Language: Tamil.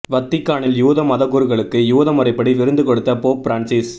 வத்திக்கானில் யூத மதகுருக்களுக்கு யூத முறைப்படி விருந்து கொடுத்த போப் பிரான்சிஸ்